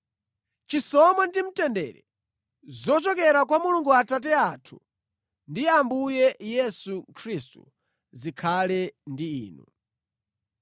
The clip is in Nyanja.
Chisomo ndi mtendere zochokera kwa Mulungu Atate athu ndi Ambuye Yesu Khristu zikhale ndi inu.